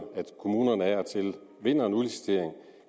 kommunerne af og til vinder en udlicitering